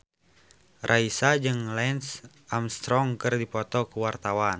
Raisa jeung Lance Armstrong keur dipoto ku wartawan